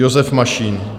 Josef Mašín.